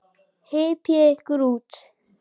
Hypjið ykkur út.